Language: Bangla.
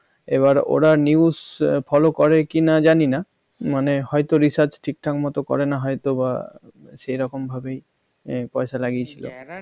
এবার ওরা news follow ভালো করে কিনা জানিনা মানে হয়তো research ঠিকঠাক মতো করে না হয়তোবা সেরকম ভাবেই পয়সার লাগিয়েছিল